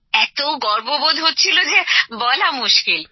এত গর্ববোধ হচ্ছিল যে বলা মুশকিল